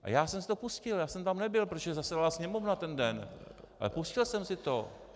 A já jsem si to pustil, já jsem tam nebyl, protože zasedala Sněmovna ten den, ale pustil jsem si to.